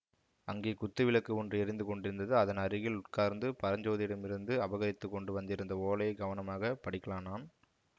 அங்கே குத்து விளக்கு ஒன்று எரிந்து கொண்டிருந்தது அதன் அருகில் உட்கார்ந்து பரஞ்சோதியிடமிருந்து அபகரித்துக்கொண்டு வந்திருந்த ஓலையை கவனமாக படிக்கலானான்